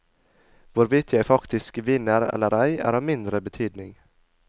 Hvorvidt jeg faktisk vinner eller ei, er av mindre betydning.